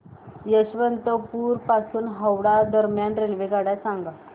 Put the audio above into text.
यशवंतपुर पासून हावडा दरम्यान रेल्वेगाड्या सांगा